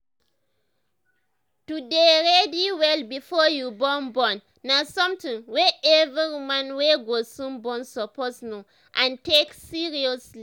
to dey ready well before you born born na something wey every woman wey go soon born suppose know and take seriously